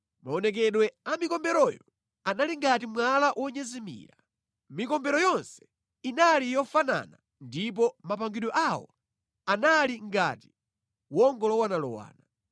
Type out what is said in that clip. Maonekedwe a mikomberoyo anali ngati mwala wonyezimira. Mikombero yonse inali yofanana ndipo mapangidwe awo anali ngati wongolowanalowana.